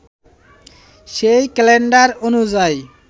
সেই ক্যালেন্ডার অনুযায়ী